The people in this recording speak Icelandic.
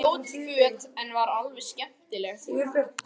Hún átti ljót föt en var alveg skemmtileg.